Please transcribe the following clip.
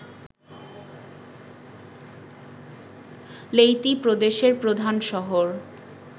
Leyte প্রদেশের প্রধান শহর